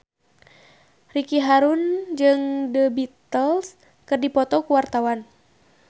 Ricky Harun jeung The Beatles keur dipoto ku wartawan